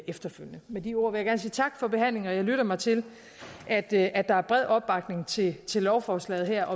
eftefølgende med de ord vil jeg gerne sige tak for behandlingen og jeg lytter mig til at der at der er bred opbakning til lovforslaget her